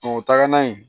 o tagala yen